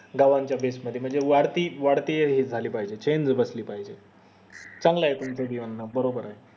गावाच्या base मध्ये वाढती वाढती हे झाली पाहिजे चांगलं ये बरोबर ये